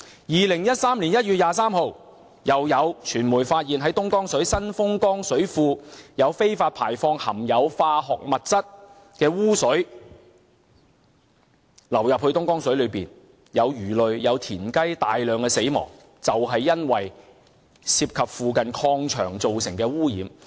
2013年1月23日，又有傳媒發現東江水供應源頭之一的新豐江水庫有非法排放含有化學物質的污水流進東江水，導致魚類和青蛙大量死亡，就是因為涉及附近礦場造成的污染。